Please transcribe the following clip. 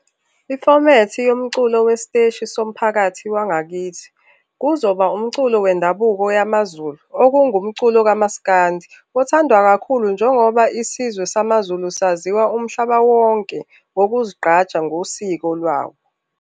Ifomethi yomculo wesiteshi somphakathi wangakithi, kuzoba umculo wendabuko yamaZulu okungumculo kamasikandi, othandwa kakhulu njengoba isizwe samazulu saziwa umhlaba wonke ngokuzigqaja ngosiko lwawo.